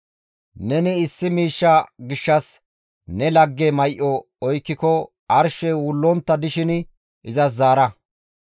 Neni issi miishsha gishshas ne lagge may7o oykkiko arshey wullontta dishin izas zaara.